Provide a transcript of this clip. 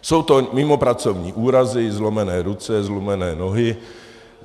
Jsou to mimopracovní úrazy, zlomené ruce, zlomené nohy.